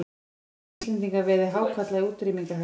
Það spyr hvort að Íslendingar veiði hákarla í útrýmingarhættu.